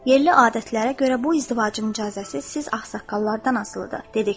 Yerli adətlərə görə bu izdivacın icazəsi siz ağsaqqallardan asılıdır.